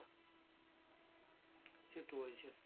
সেটাই সেটা